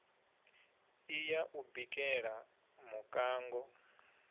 i ya u bikela muṋango